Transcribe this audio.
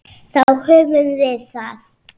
Þá höfum við það.